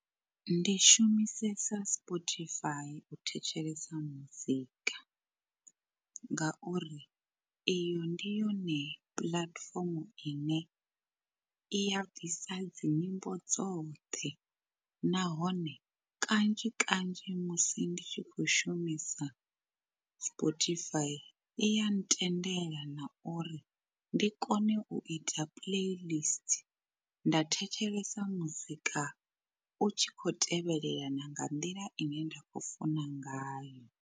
Ndi shumisesa spotify u thetshelesa muzika, ngauri iyo ndi yone puḽatifomo ine i ya bvisa dzi nyimbo dzoṱhe. Nahone kanzhi kanzhi musi ndi tshi khou shumisa spotify iya ntendela na uri ndi kone u ita playlist, nda thetshelesa muzika u tshi kho tevhelela na nga nḓila ine nda khou funa ngayo.